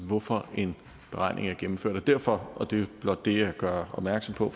hvorfor en beregning er gennemført derfor og det er blot det jeg gør opmærksom på